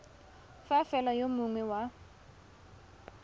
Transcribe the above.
fa fela yo mongwe wa